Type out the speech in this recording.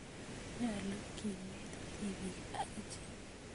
Nyalu kenet tipiik akichek